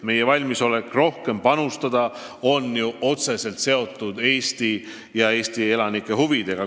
Meie valmisolek rohkem panustada on aga otseselt seotud Eesti ja Eesti elanike huvidega.